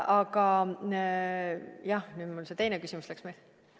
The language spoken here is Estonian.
Aga nüüd mul see teine küsimus läks meelest.